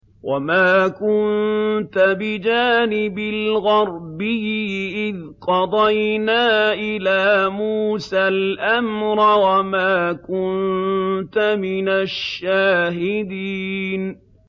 وَمَا كُنتَ بِجَانِبِ الْغَرْبِيِّ إِذْ قَضَيْنَا إِلَىٰ مُوسَى الْأَمْرَ وَمَا كُنتَ مِنَ الشَّاهِدِينَ